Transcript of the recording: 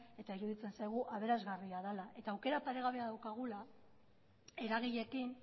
eta iruditzen zaigu aberasgarria dela eta aukera paregabea daukagula eragileekin